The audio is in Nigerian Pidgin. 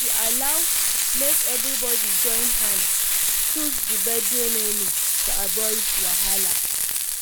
she allow make everybody join hand choose the birthday menu to avoid wahala